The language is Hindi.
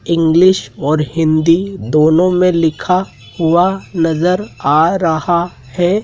इंग्लिश और हिंदी दोनों में लिखा हुआ नज़र आ रहा है।